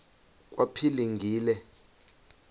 kwaphilingile